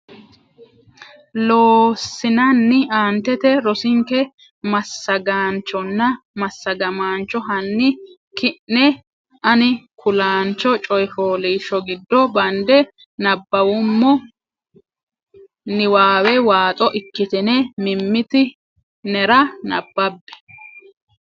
Loossinanni aantete rosinke massagaanchonna massagamaancho hanni ki ne ani kulaancho coy fooliishsho gido bande nabbawummo niwaawe waaxo ikkitine mimmiti nera nabbabbe.